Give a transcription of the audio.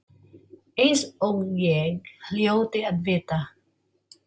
Eins og ég hljóti að vita.